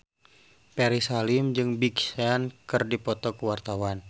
Ferry Salim jeung Big Sean keur dipoto ku wartawan